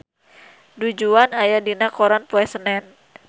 Du Juan aya dina koran poe Senen